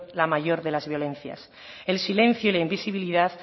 la mayor de las violencias el silencio y la invisibilidad